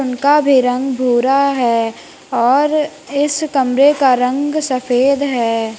उनका भी रंग भूरा है और इस कमरे का रंग सफेद है।